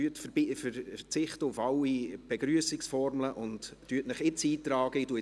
Verzichten Sie auf alle Begrüssungsformeln und tragen Sie sich jetzt in die Rednerliste ein.